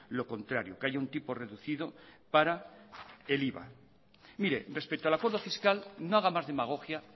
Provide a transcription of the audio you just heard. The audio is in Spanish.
lo contrario que haya un tipo reducido para el iva respecto al acuerdo fiscal no haga más demagogia